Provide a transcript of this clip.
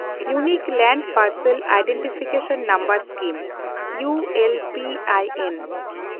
ᱤᱣᱱᱤᱠ land parcel identification number scheme (U L P I ᱮᱱ)